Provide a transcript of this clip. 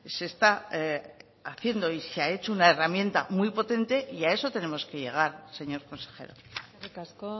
se está haciendo y se ha hecho una herramienta muy potente y a eso tenemos que llegar señor consejero eskerrik asko